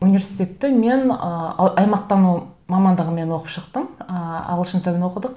университетті мен ыыы аймақтану мамандығымен оқып шықтым ыыы ағылшын тілін оқыдық